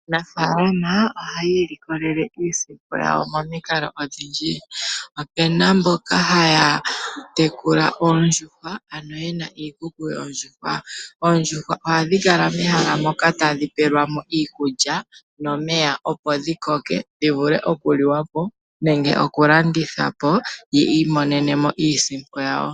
Aanafaalama ohaya ilikolele iisimpo yawo momikalo odhindji. Opuna mboka haya tekula oondjuhwa, ano yena iikuku yoondjuhwa. Oondjuhwa ohadhi kala mehala moka tadhi pelwamo iikulya nomeya opo dhi koke, dhi vule oku liwa po nenge oku landithwa po, yi imonene mo iisimpo yawo.